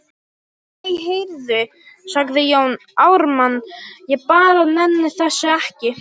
Æ, heyrðu, sagði Jón Ármann,- ég bara nenni þessu ekki.